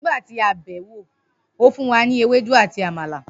Nigba ti a be e, o fun wa ni amala ati ewedu